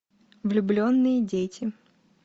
влюбленные дети